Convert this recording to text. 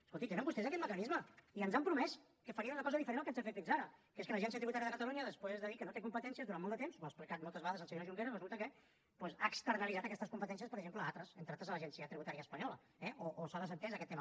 escoltin tenen vostès aquest mecanisme i ens han promès que farien una cosa diferent del que ens han fet fins ara que és que l’agència tributària de catalunya després de dir que no té competències durant molt de temps ho ha explicat moltes vegades el senyor junqueras resulta que ha externalitzat aquestes competències per exemple a altres entre altres a l’agència tributària espanyola eh o s’ha desentès d’aquest tema